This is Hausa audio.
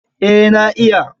Eh na iya.